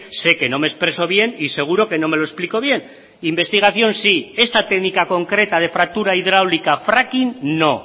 sé que no me expreso bien y seguro que no me lo explico bien investigación sí esta técnica concreta de fractura hidráulica fracking no